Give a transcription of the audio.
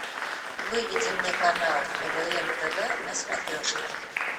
выведи мне канал квн тв на смотрешке